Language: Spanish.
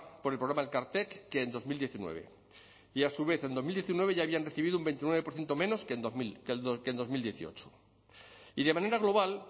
por el programa elkartek que en dos mil diecinueve y a su vez en dos mil diecinueve ya habían recibido un veintinueve por ciento menos que en dos mil dieciocho y de manera global